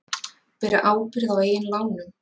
Bera ábyrgð á eigin lánum